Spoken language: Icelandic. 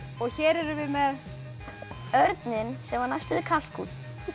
og hér erum við með örninn sem var næstum því kalkúnn